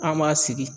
An m'a sigi